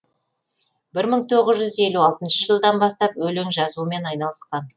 бір мың тоғыз жүз елу алтыншы жылдан бастап өлең жазумен айналысқан